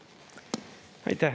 Aitäh!